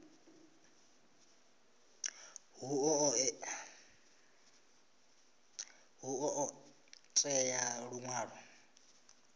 hu ḓo ṱo ḓea luṅwalo